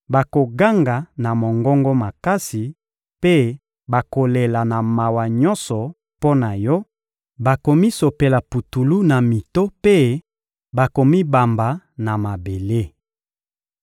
bakoganga na mongongo makasi mpe bakolela na mawa nyonso mpo na yo; bakomisopela putulu na mito mpe bakomibamba na mabele.